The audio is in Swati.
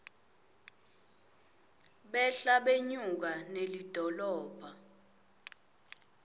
behla benyuka nelidolobha